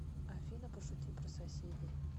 афина пошути про соседей